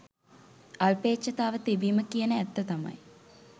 අල්පේච්ඡතාව තිබීම කියන ඇත්ත තමයි